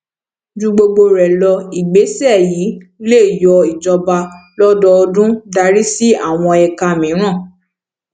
ju gbogbo rẹ lọ ìgbésẹ yi lè yọ ijọba lọdọọdun darí sí àwọn ẹka míràn